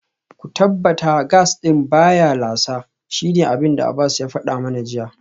Ku tabbata gas din baya lasa, shine abinda Abbas ya fada mana jiya